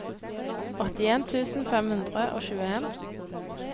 åttien tusen fem hundre og tjueen